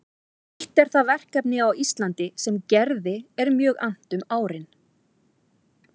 Eitt er það verkefni á Íslandi sem Gerði er mjög annt um árin